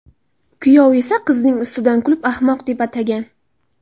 Kuyov esa qizning ustidan kulib, ahmoq deb atagan.